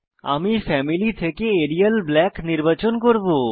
আমি ফ্যামিলি থেকে Arial Black নির্বাচন করব